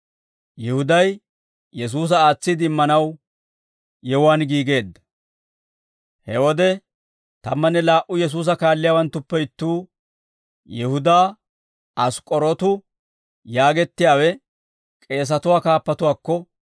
He wode tammanne laa"u Yesuusa kaalliyaawanttuppe ittuu Yihudaa Ask'k'orootu yaagettiyaawe k'eesatuwaa kaappatuwaakko